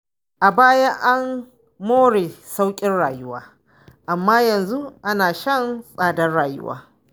A baya an more sauƙin rayuwa, amma yanzu ana shan tsadar rayuwa.